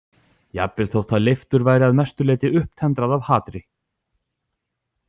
Jafnvel þótt það leiftur væri að mestu leyti upptendrað af hatri.